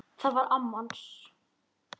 Það var amma hans